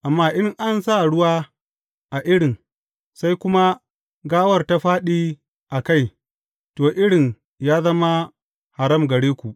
Amma in an sa ruwa a irin sai kuma gawar ta fāɗi a kai, to, irin ya zama haram gare ku.